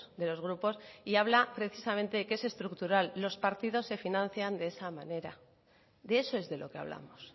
de los grupos y habla precisamente que es estructural los partidos se financian de esa manera de eso es de lo que hablamos